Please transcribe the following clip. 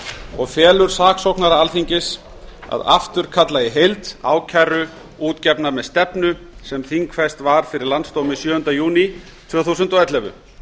og felur saksóknara alþingis að afturkalla í heild ákæru útgefna með stefnu sem þingfest var fyrir landsdómi sjöunda júní tvö þúsund og ellefu